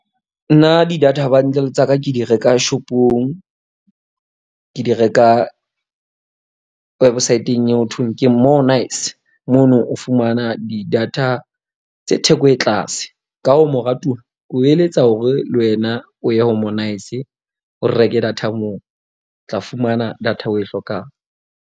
Nna di-data bundle tsa ka, ke di reka shop-ong. Ke di reka website-eng eo ho thweng ke . Mono o fumana di-data tse theko e tlase ka ho moratuwa ko eletsa hore le wena o ye ho o reke data moo o tla fumana data o e hlokang.